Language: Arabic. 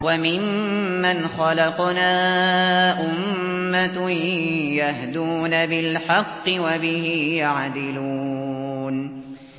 وَمِمَّنْ خَلَقْنَا أُمَّةٌ يَهْدُونَ بِالْحَقِّ وَبِهِ يَعْدِلُونَ